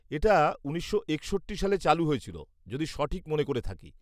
এটা উনিশশো একষট্টি সালে চালু হয়েছিল, যদি সঠিক মনে করে থাকি।